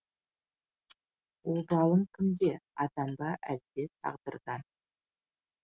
обалың кімде адам ба әлде тағдырдан